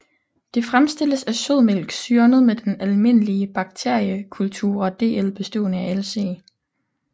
Det fremstilles af sødmælk syrnet med den almindelige bakteriekulture DL bestående af Lc